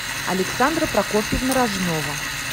александра прокофьевна рожнова